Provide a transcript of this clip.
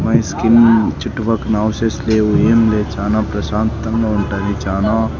My స్కిన్ చుట్టుపక్కన houses లేవు ఏమి లేవు చానా ప్రశాంతంగా ఉంటాది చానా.